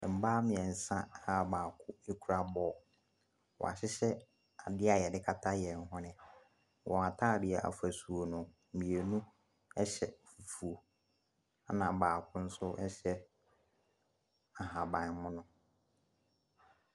Mmaa mmeɛnsa a baako kura ball. Wɔahyehɛ adeɛ a wɔde kata wɔn hwene. Wɔn atadeɛ afasuo no, mmienu hyɛ fufuo, ɛna baako nso hyɛ ahabammono.